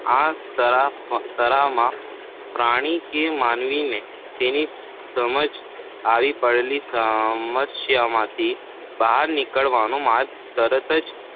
આ તરાહમાં પ્રાણી કે માનવીને તેની સમક્ષ ખાવી પડેલી સમસ્યામાંથી બહાર નીકળવાનો માર્ગ તરત જ